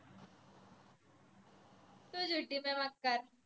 तू झूटी मै मक्कार